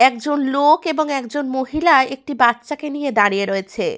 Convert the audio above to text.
একজন লোক এবং একজন মহিলা একটি বাচ্চাকে নিয়ে দাঁড়িয়ে রয়েছে।